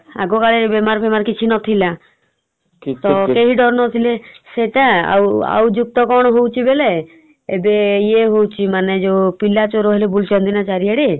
ଆଗ କାଳେ ଏଇ ବେମାର ଫେମାର କିଛି ନଥିଲା । କେହି ଡରୁ ନଥିଲେ ସେଇଟା ଆଉ ଆଉ ଯେତେ କଣ ହଉଚି ହେଲେ ଏବେ ଇଏ ହଉଚି ମାନେ ଯଉ ପିଲା ଚୋର ଖାଲି ବୁଲୁଚନ୍ତି ନା ଚାରିଆଡେ ।